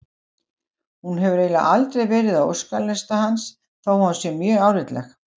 Hún hefur eiginlega aldrei verið á óskalista hans þó að hún sé mjög álitleg.